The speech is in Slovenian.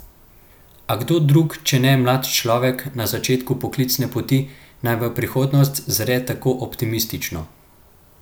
A kdo drug, če ne mlad človek na začetku poklicne poti, naj v prihodnost zre tako optimistično?